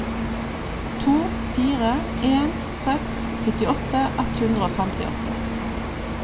to fire en seks syttiåtte ett hundre og femtiåtte